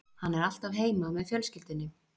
Hann er alltaf heima með fjölskyldunni